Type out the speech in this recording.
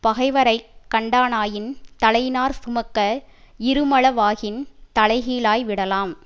பகைவரை கண்டானாயின் தலையினாற் சுமக்க இறுமளவாகின் தலை கீழாய் விடலாம்